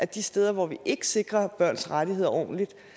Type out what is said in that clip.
de steder hvor vi ikke sikrer børns rettigheder ordentligt